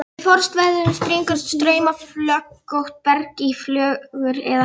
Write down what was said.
Við frostveðrun springur straumflögótt berg í flögur eða hellur.